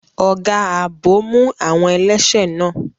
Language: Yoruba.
Ọ̀gá ààbò mú àwọn ẹlẹ́ṣẹ̀ náà.